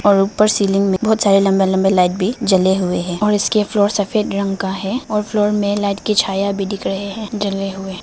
और ऊपर सीलिंग में बहुत सारे लंबे लंबे लाइट भी जले हुए हैं और इसके फ्लोर सफेद रंग का है और फ्लोर में लाइट की छाया भी दिख रहे हैं जले हुए।